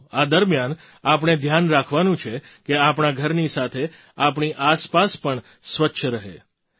પરંતુ આ દરમિયાન આપણે ધ્યાન રાખવાનું છે કે આપણા ઘરની સાથે આપણી આસપાસ પણ સ્વચ્છ રહે